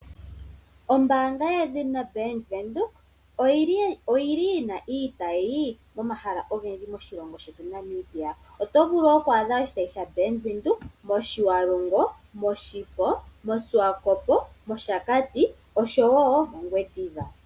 Ombaanga yedhina Bank Windhoek oyi li yina iitayi pomahala ogendji moshilongo shetu Namibia otovulu oku adha oshitayi shaBank Windhoek mOshiwarongo, mOshifo, moSwakopo, mOshakati osho wo mOngwediva.